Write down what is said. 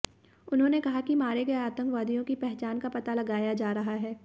उन्होंने कहा कि मारे गए आतंकवादियों की पहचान का पता लगाया जा रहा है